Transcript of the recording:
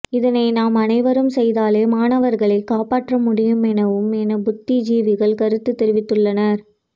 இதனை நாம் அனைவரும் செய்தாலே மாணவர்களை காப்பாற்ற முடியும் எனவும் என புத்திஜீவிகள் கருத்து தெரிவித்துள்ளனர்